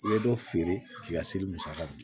I bɛ dɔ feere k'i ka seli musaka bɔ